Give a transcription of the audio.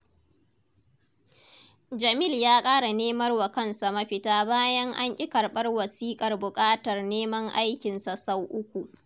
Jamil ya ƙara nemar wa kansa mafita bayan an ƙi karɓar wasiƙar buƙatar neman aikinsa sau uku.